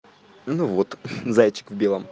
ну вот зайчик в белом